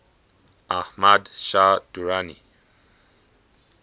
ahmad shah durrani